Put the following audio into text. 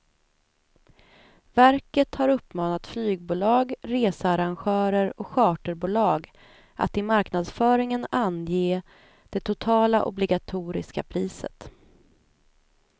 Verket har uppmanat flygbolag, researrangörer och charterbolag att i marknadsföringen ange det totala obligatoriska priset.